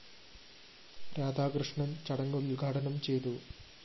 രാധാകൃഷ്ണന്‍ ചടങ്ങ് ഉദ്ഘാടനം ചെയ്തു